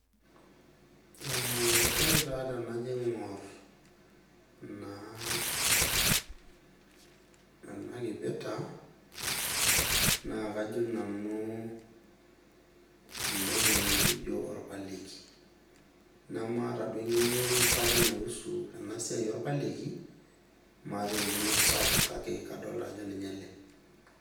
Aa , ore taa tenajo aingor naa ena kipeta naa kajo nanu entoki nikijo orpaleki , nemaata duo engeno sapuk naihusu ena siai orpaleki , maata engeno sapuk kake kadolta ajo ninye ele.